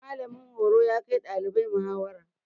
Mallamin horo ya kai ɗalibai muhawara.